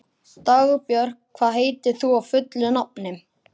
Dagbjört, hvað heitir þú fullu nafni?